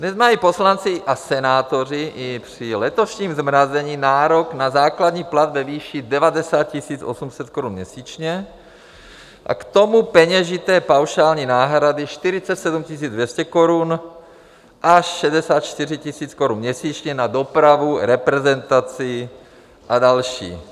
Dnes mají poslanci a senátoři i při letošním zmrazení nárok na základní plat ve výši 90 800 korun měsíčně a k tomu peněžité paušální náhrady 47 200 korun až 64 000 korun měsíčně na dopravu, reprezentaci a další.